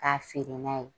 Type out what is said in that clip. K'a feere n'a ye